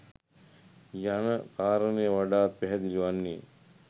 යන කාරණය වඩාත් පැහැදිලි වන්නේ